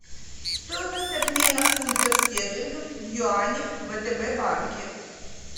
стоимость обмена фунтов стерлингов в юани в втб банке